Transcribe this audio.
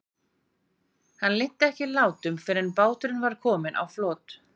Hann linnti ekki látum fyrr en báturinn var kominn á flot.